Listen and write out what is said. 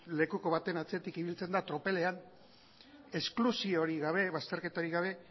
lekuko baten atzetik ibiltzen da tropelean esklusiorik gabe bazterketarik gabe